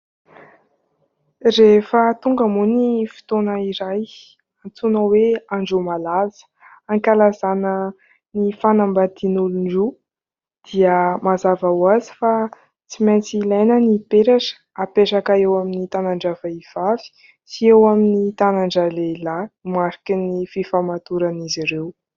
Rehefa tonga moa ny fotoana iray antsoina hoe andro malaza, ankalazana ny fanambadin'olona roa dia mazava ho azy fa tsy maintsy ilaina ny peratra hapetraka eo amin'ny tanany vehivavy sy eo amin'ny tanany lehilahy mariky ny fifamatoran'izy ireo.